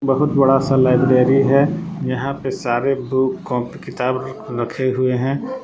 बहुत बड़ा सा लाइब्रेरी है यहां पे सारे बुक कापी किताब रखे हुए हैं।